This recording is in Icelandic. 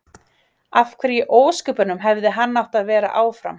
Af hverju í ósköpunum hefði hann átt að vera áfram?